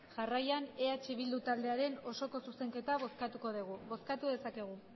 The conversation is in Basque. jarraian eh bildu taldearen osoko zuzenketa bozkatuko dugu bozkatu dezakegu